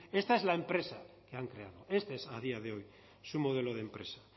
esta es la empresa que han creado esta es a día de hoy su modelo de empresa